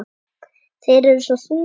Þeir eru svo þungir.